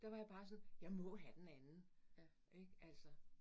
Der var jeg bare sådan, jeg må have den anden ik altså